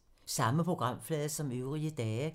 Samme programflade som øvrige dage